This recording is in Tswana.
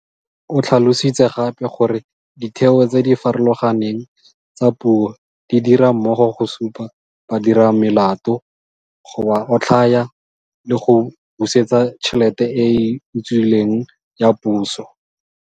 O tlhalositse gape gore ditheo tse di farologaneng tsa puso di dira mmogo go supa badiramelato, go ba otlhaya, le go busetsa tšhelete e e utswilweng ya Puso.